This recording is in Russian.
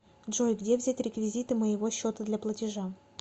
джой где взять реквизиты моего счета для платежа